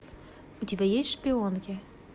у тебя есть шпионки